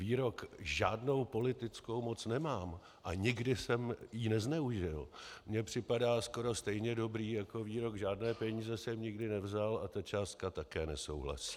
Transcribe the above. Výrok "žádnou politickou moc nemám a nikdy jsem ji nezneužil" mi připadá skoro stejně dobrý jako výrok "žádné peníze jsem nikdy nevzal a ta částka také nesouhlasí".